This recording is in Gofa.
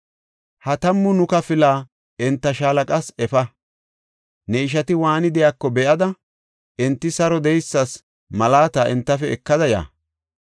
Ha tammu nuka pila enta shaalaqas efa; ne ishati waani de7iyako be7ada, enti saro de7eysas malaata entafe ekada ya.